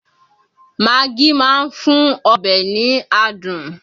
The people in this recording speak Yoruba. Magí máa ń fún ọbẹ̀ ní adùn